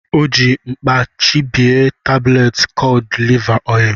O ji mkpà chabie tabletị kọd liva oil.